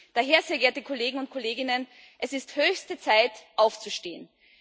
Daher, sehr geehrte Kollegen und Kolleginnen Es ist höchste Zeit, aufzustehen.